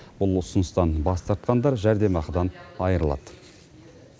бұл ұсыныстан бас тартқандар жәрдемақыдан айырылады